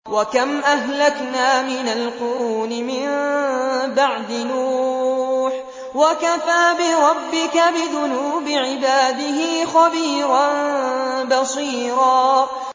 وَكَمْ أَهْلَكْنَا مِنَ الْقُرُونِ مِن بَعْدِ نُوحٍ ۗ وَكَفَىٰ بِرَبِّكَ بِذُنُوبِ عِبَادِهِ خَبِيرًا بَصِيرًا